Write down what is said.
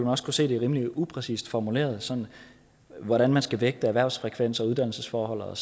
også kunne se at det er rimelig upræcist formuleret hvordan man skal vægte erhvervsfrekvens og uddannelsesforhold og